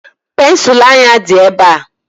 Pensụl anya dị ebe a.